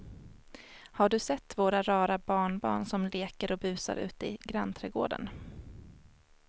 Har du sett våra rara barnbarn som leker och busar ute i grannträdgården!